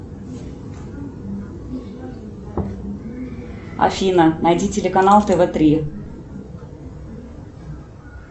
афина найди телеканал тв три